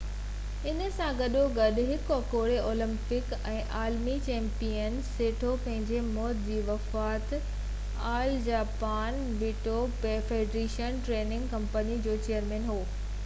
انهي سان گڏو گڏ هڪ اڳوڻي اولمپڪ ۽ عالمي چيمپيئن، سيٽو پنهنجي موت جي وقت all Japan judo federation training committee جو چيئرمين هو